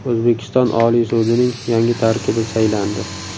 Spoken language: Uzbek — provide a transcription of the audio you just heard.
O‘zbekiston Oliy sudining yangi tarkibi saylandi.